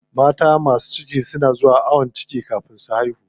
Mata masu ciki na zuwa ayon ciki kafin su haihu.